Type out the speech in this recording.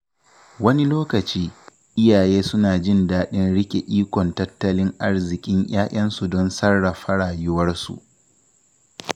Wani lokaci, iyaye suna jin daɗin riƙe ikon tattalin arzikin ‘ya’yansu don sarrafa rayuwarsu.